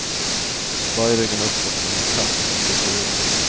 Böj ryggen uppåt som en katt som skjuter rygg.